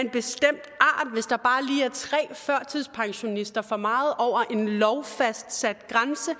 tre førtidspensionister for meget over en lovfastsat grænse